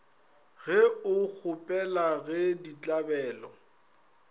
ge o kgopela ge ditlabelo